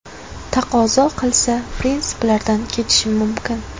Taqozo qilsa, prinsiplarimdan kechishim mumkin.